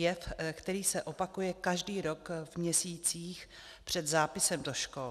Jev, který se opakuje každý rok v měsících před zápisem do škol.